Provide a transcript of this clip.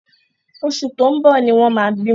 Oṣù tó ń bọ̀ ni wọ́n máa bímọ.